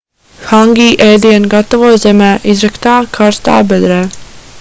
hangi ēdienu gatavo zemē izraktā karstā bedrē